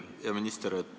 Hea minister!